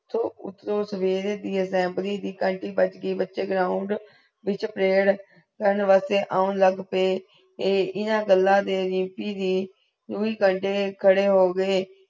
ਤੋਂ ਉਸ ਸਵੇਰੇ ਦੀ assembly ਦੀ ਘੰਟੀ ਬਜ ਗਈ ground ਵਿਚ ਪਰੇਯਰ ਕਰਨ ਵਾਸਤੇ ਆਨ ਲਗ ਪਏ ਐ ਇਨਾ ਗਲਾ ਦੇ ਰੀਮਪੀ ਦੀ ਦੁਇ ਘੰਟੇ ਖਡੇ ਹੋ ਗਏ